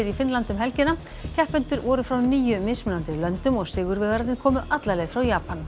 í Finnlandi um helgina keppendur voru frá níu mismunandi löndum og sigurvegararnir komu alla leið frá Japan